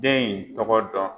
Den in tɔgɔ dɔn